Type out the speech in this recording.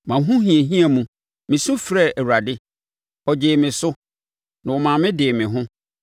Mʼahohiahia mu, mesu frɛɛ Awurade; ɔgyee me so, na ɔma me dee me ho.